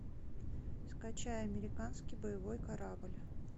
скачай американский боевой корабль